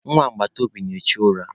Akwa agbataobi na-echu ura.